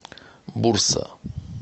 бурса